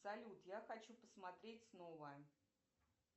салют я хочу посмотреть снова